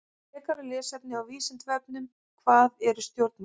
Frekara lesefni á Vísindavefnum: Hvað eru stjórnmál?